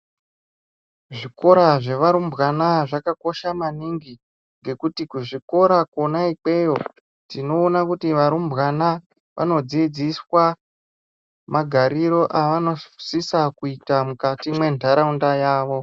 Zvikora zvevarumbwana zvakakosha maningi nekuti zvikora zvimweni tinoona kuti vana vasikana vanodzizdiswa magariro avanosisa kuita mukati mwendaraunda yawo.